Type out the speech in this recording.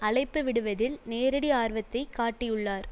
அழைப்பு விடுவதில் நேரடி ஆர்வத்தை காட்டியுள்ளார்